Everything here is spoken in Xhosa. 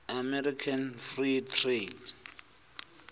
american free trade